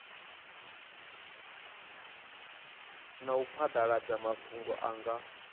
na u phadaladza mafhungo nga